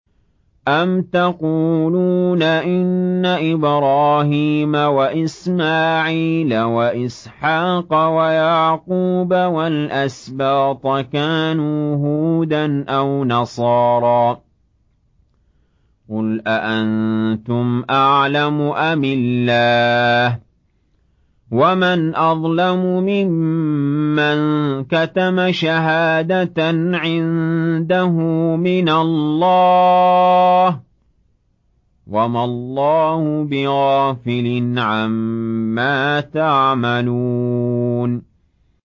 أَمْ تَقُولُونَ إِنَّ إِبْرَاهِيمَ وَإِسْمَاعِيلَ وَإِسْحَاقَ وَيَعْقُوبَ وَالْأَسْبَاطَ كَانُوا هُودًا أَوْ نَصَارَىٰ ۗ قُلْ أَأَنتُمْ أَعْلَمُ أَمِ اللَّهُ ۗ وَمَنْ أَظْلَمُ مِمَّن كَتَمَ شَهَادَةً عِندَهُ مِنَ اللَّهِ ۗ وَمَا اللَّهُ بِغَافِلٍ عَمَّا تَعْمَلُونَ